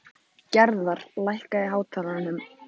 Gerðar, lækkaðu í hátalaranum.